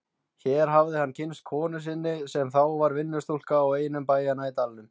Hér hafði hann kynnst konu sinni sem þá var vinnustúlka á einum bæjanna í dalnum.